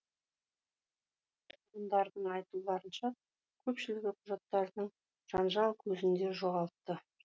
тұрғындардың айтуларынша көпшілігі құжаттарын жанжал көзінде жоғалтты